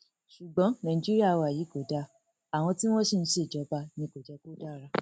ṣùgbọn nàìjíríà wa yìí kò dáa àwọn tí wọn sì ń ṣèjọba ni kò jẹ kó dára